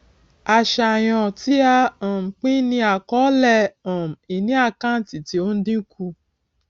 àṣàyàn tí a um pín ní àkọọlẹ um ìní àkántì tí ó ń dínkù